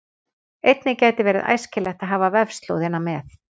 Einnig gæti verið æskilegt að hafa vefslóðina með.